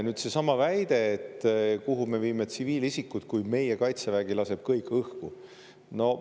Nüüd see, et kuhu me viime tsiviilisikud, kui meie Kaitsevägi on kõik õhku lasknud.